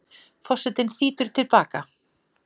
Forsetinn þýtur til baka.